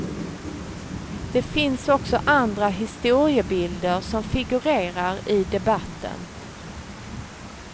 Det finns också andra historiebilder som figurerar i debatten.